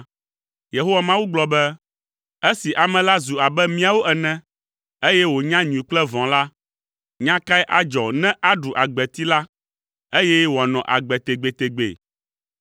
Yehowa Mawu gblɔ be, “Esi ame la zu abe míawo ene, eye wònya nyui kple vɔ̃ la, nya kae adzɔ ne aɖu agbeti la, eye wòanɔ agbe tegbetegbe?”